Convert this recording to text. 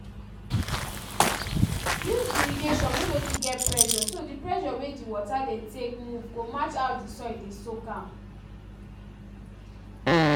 use irrigation wey no too get pressure so di pressure wey di water dey take move go match how di soil dey soak am